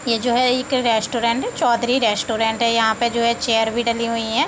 ये जो है एक है रेस्टोरेंट है। चौधरी रेस्टोरेंट है। यहाँ पे जो है चेयर भी डली हुई हैं।